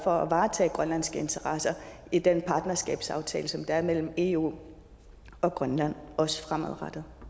for at varetage grønlandske interesser i den partnerskabsaftale som der er mellem eu og grønland også fremadrettet